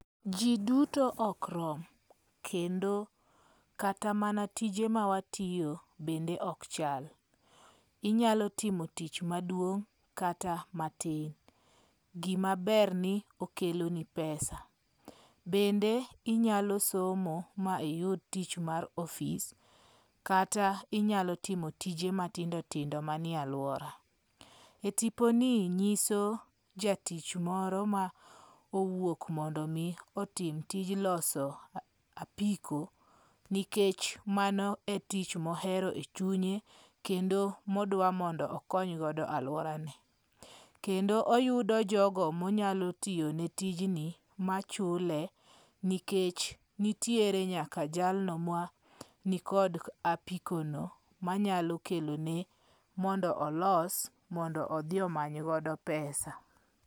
Ji duto ok rom. Kendo kata mana tije ma watiyo bende ok chal. Inyalo timo tich maduong' kata matin. Gima ber ni okelo ni pesa. Bende inyalo somo ma iyud tich mar ofs. Kata inyalo timo tije matindo tindo manie aluora. E tipo ni nyiso jatich moro ma owuok mondo mi otim tij loso apiko nikech mano e tich mohero e chunye. Kendo modwa mondo okony godo aluora ne. Kendo oyudo jogo monyalotiyone tijni machule nikech nitiere nyaka jalno ma ni kod apiko no manyalo kelone mondo olos mondo odhi omany godo pesa.